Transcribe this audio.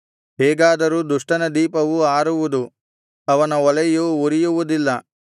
ಹೇಗಾದರೂ ದುಷ್ಟನ ದೀಪವು ಆರುವುದು ಅವನ ಒಲೆಯು ಉರಿಯುವುದಿಲ್ಲ